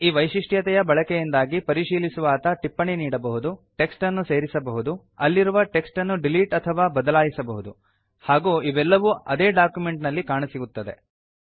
ಈ ವೈಶಿಷ್ಟ್ಯತೆಯ ಬಳಕೆಯಿಂದಾಗಿ ಪರಿಶೀಲಿಸುವಾತ ಟಿಪ್ಪಣಿ ನೀಡಬಹುದು ಟೆಕ್ಸ್ಟ್ ಅನ್ನು ಸೇರಿಸಬಹುದು ಅಲ್ಲಿರುವ ಟೆಕ್ಸ್ಟ್ ಅನ್ನು ಡಿಲೀಟ್ ಅಥವಾ ಬದಲಾಯಿಸಬಹುದು ಹಾಗೂ ಇವೆಲ್ಲವೂ ಆದೇ ಡಾಕ್ಯುಮೆಂಟ್ ನಲ್ಲಿ ಕಾಣಸಿಗುತ್ತವೆ